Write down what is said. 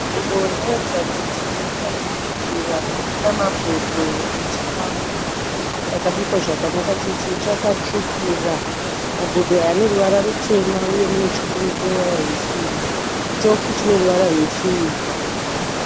Nzvimbo inoratidza kuti imba yekubikira, muna mabhodho ane chikafu chakabikwa zvakanaka chose, chakatsvukira, Mabhodho aya ane ruvara rutema uye mune chipunu chine ruvara rwesirivha. Chitofu chine ruvara rwesirivha